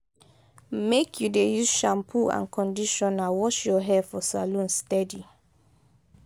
make you dey use shampoo and conditioner wash your hair for salon steady.